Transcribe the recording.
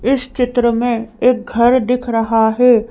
इस चित्र में एक घर दिख रहा हैं।